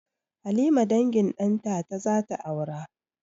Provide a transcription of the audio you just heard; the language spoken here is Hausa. Halima dangin ɗantata zata aura